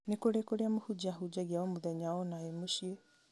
nĩ kũrĩ kũrĩa mũhunjia ahũnjagia o mũthenya ona e mũciĩ